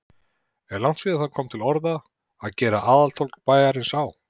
Er langt síðan það kom til orða, að gera aðaltorg bæjarins á